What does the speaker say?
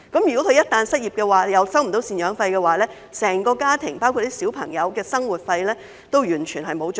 如果她們一旦失業，同時未能收取贍養費，整個家庭，包括小孩的生活費也完全沒有着落。